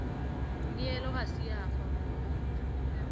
neelo ga se ya fapoga